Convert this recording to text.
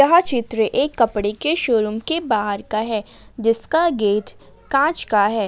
यह चित्र एक कपड़े के शोरूम के बाहर का है जिसका गेट कांच का है।